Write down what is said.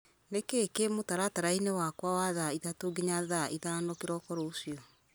nĩ kĩĩ kĩ mũtaratara-inĩ wakwa wa thaa ithatũ nginya thaa ithano kĩroko rũciũ